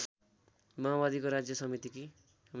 माओवादीको राज्य समितिकी